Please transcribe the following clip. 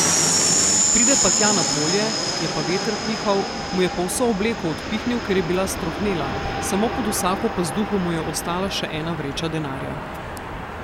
Pride pa tja na polje, je pa veter pihal, mu je pa vso obleko odpihnil, ker je bila strohnela, samo pod vsako pazduho mu je ostala še ena vreča denarja.